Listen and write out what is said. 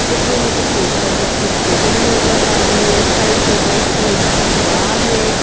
इसमें मुझे post office की होर्डिंग नज़र आ रही है साइड में वाइट कलर की दीवार है।